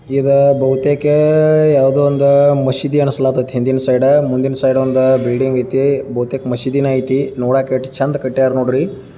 ಇದು ಬಹುತೇಕ ಯಾವುದೋ ಒಂದು ಮಸೀದಿ ಅನ್ಸೋಂಗೈತಿ ಹಿಂದಿನ ಸೈಡ್ ಮುಂದಿನ ಸೈಡ್ ಒಂದು ಬಿಲ್ಡಿಂಗ್ ಐತಿ. ಬಹುತೇಕ ಮಸೀದಿನು ಐತಿ ನೋಡೋಕೆ ಎಷ್ಟು ಚಂದ ಕಟ್ಟ್ಯಾರ್ ನೋಡ್ರಿ.